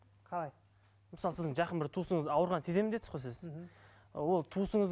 қалай мысалы сіздің жақын бір туысыңыз ауырғанын сеземін дедіңіз ғой сіз мхм ол туысыңыз